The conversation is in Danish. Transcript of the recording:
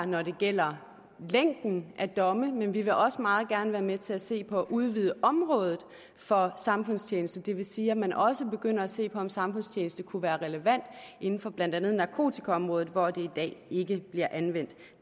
når det gælder længden af domme men vi vil også meget gerne være med til at se på at udvide området for samfundstjeneste det vil sige at man også begynder at se på om samfundstjeneste kunne være relevant inden for blandt andet narkotikaområdet hvor det i dag ikke bliver anvendt